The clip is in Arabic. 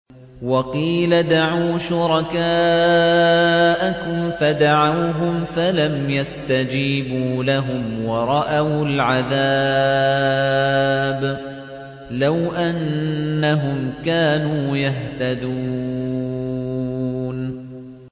وَقِيلَ ادْعُوا شُرَكَاءَكُمْ فَدَعَوْهُمْ فَلَمْ يَسْتَجِيبُوا لَهُمْ وَرَأَوُا الْعَذَابَ ۚ لَوْ أَنَّهُمْ كَانُوا يَهْتَدُونَ